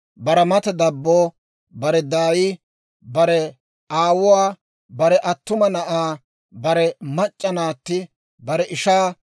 bare mata dabbo, bare daay, bare aawuwaa, bare attuma na'aa, bare mac'c'a naatti, bare ishaa,